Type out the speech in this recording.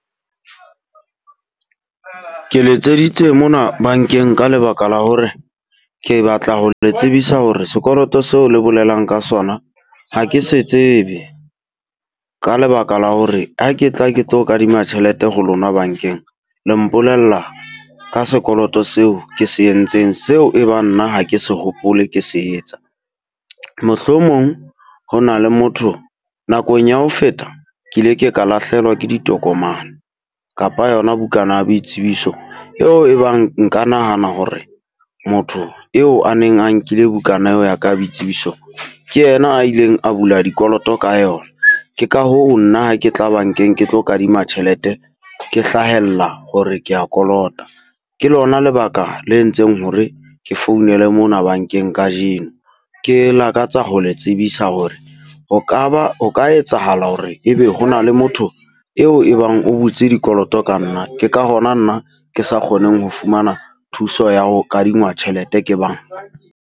Ke letseditse mona bankeng ka lebaka la hore ke batla ho le tsebisa hore sekoloto seo le bolelang ka sona ha ke se tsebe. Ka lebaka la hore ha ke tla ke tlo kadima tjhelete ho lona bankeng, le mpolella ka sekoloto seo ke se entseng seo e bang nna ha ke se hopole ke se etsa. Mohlomong ho na le motho nakong ya ho feta ke ile ke ka lahlehelwa ke ditokomane, kapa yona bukana ya boitsebiso. Eo e bang nka nahana hore motho eo a neng a nkile bukana eo ya ka ya boitsebiso, ke yena a ileng a bula dikoloto ka yona. Ke ka hoo nna ha ke tla ba nkeng ke tlo kadima tjhelete, ke hlahella hore kea kolota. Ke lona lebaka le entseng hore ke founele mona bankeng kajeno. Ke lakatsa ho le tsebisa hore ho ka ba ho ka etsahala hore ebe hona le motho eo e bang o butse dikoloto ka nna. Ke ka hona nna ke sa kgoneng ho fumana thuso ya ho kadingwa tjhelete ke banka.